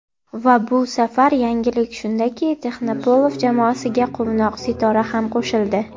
Va bu safar yangilik shunda-ki - Texnoplov jamoasiga quvnoq Sitora ham qo‘shildi.